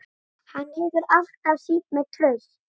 Hann hefur alltaf sýnt mér traust